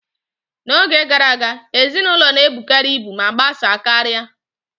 N'oge gara aga, ezinụlọ na-ebukarị ibu ma gbasaa karịa.